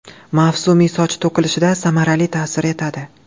Mavsumiy soch to‘kilishida samarali ta’sir etadi.